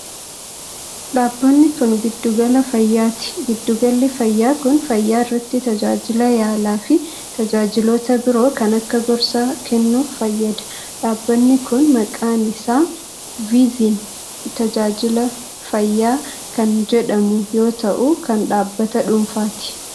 Dhabbanni kun, giddu gala fayyaati. Giddu galli fayyaa kun, fayyaa irratti tajaajila yaalaa fi tajaajiloota biroo kan akka gorsaa kennuuf fayyada. Dhaabanni kun maqaan isaa Vizyin Tajaajila Fayyaa kan jedhamu yoo ta'u kan dhaabbata dhuunfaati.